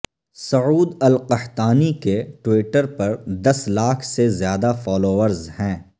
سعود al Qahtani کے Twitter پر دس لاکھ سے زیادہ فالورز ہیں